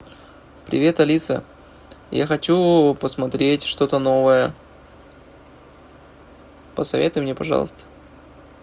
привет алиса я хочу посмотреть что то новое посоветуй мне пожалуйста